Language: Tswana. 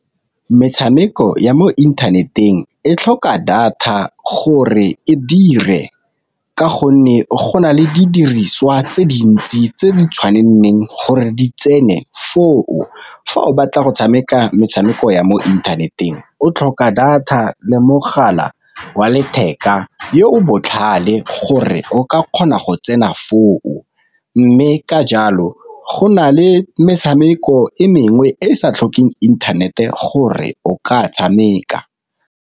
Metshameko ya mo inthaneteng e tlhoka data gore e dire, ka gonne go na le di diriswa tse dintsi tse di gore di tsene foo. Fa o batla go tshameka metshameko ya mo inthaneteng o tlhoka data le mogala wa letheka yo o botlhale gore o ka kgona go tsena foo, mme ka jalo go na le metshameko e mengwe e e sa tlhokeng internet-e gore o ka tshameka.